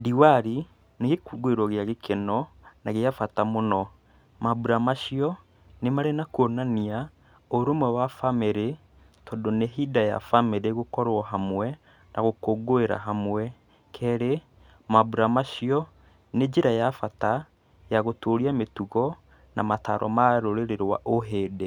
Diwali nĩ gĩkũngũĩro gĩa gĩkeno na gĩa bata mũno, maambura macio nĩ marĩ na kuonania ũrũwe wa bamĩrĩ tondũ nĩ ihinda rĩa bamĩrĩ gũkorwo hamwe na gũkũngũĩra hamwe. Kerĩ maambura macio nĩ njĩra ya bata ya gũtũria mĩtugo na mataro maa rũrĩrĩ rwa ũhĩndĩ.